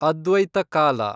ಅದ್ವೈತ ಕಾಲ